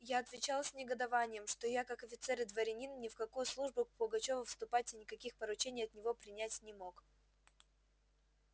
я отвечал с негодованием что я как офицер и дворянин ни в какую службу к пугачёву вступать и никаких поручений от него принять не мог